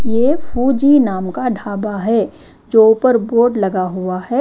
यह फौजी नाम का ढाबा है जो ऊपर बोर्ड लगा हुआ है।